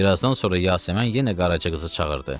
Bir azdan sonra Yasəmən yenə Qaraca qızı çağırdı.